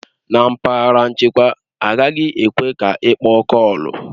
Na mpaghara nchekwa, agaghị ekwe ka ịkpọ kọọlu